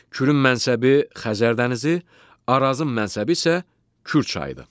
Kürün mənsəbi Xəzər dənizi, Arazın mənsəbi isə Kür çayıdır.